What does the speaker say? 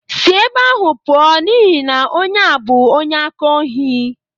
Sị ebe ahụ pụọ n'ihi na onye a bụ onye aka ohi!